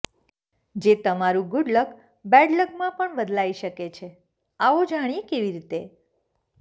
જે તમારું good luck bad લકમાં પણ બદલાઇ શકે છે આવો જાણીએ કેવી રીતે